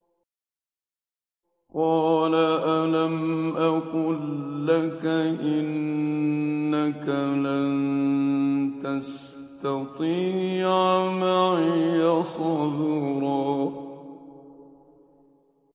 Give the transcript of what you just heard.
۞ قَالَ أَلَمْ أَقُل لَّكَ إِنَّكَ لَن تَسْتَطِيعَ مَعِيَ صَبْرًا